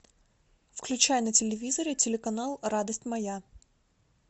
включай на телевизоре телеканал радость моя